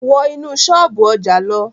Wọ́ inú ṣọ́ọ̀bú ọjà lọ!